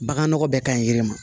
Baganɔgɔ bɛɛ ka ɲi yiri ma